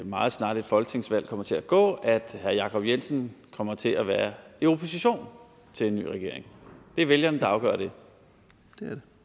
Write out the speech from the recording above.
meget snarligt folketingsvalg kommer til at gå at herre jacob jensen kommer til at være i opposition til en ny regering det er vælgerne der afgør det